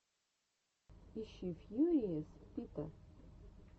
ищи фьюриес пита